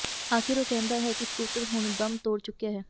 ਆਖਿਰ ਉਹ ਕਹਿੰਦਾ ਹੈ ਕਿ ਸਕੂਟਰ ਹੁਣ ਦਮ ਤੋੜ ਚੁੱਕਿਆ ਹੈ